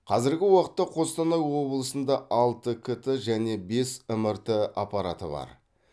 қазіргі уақытта қостанай облысында алты кт және бес мрт аппараты бар